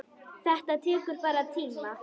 Þetta tekur bara tíma.